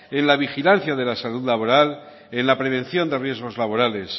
en la vigilancia de la salud laboral en la prevención de riesgos laborales